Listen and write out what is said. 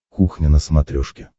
кухня на смотрешке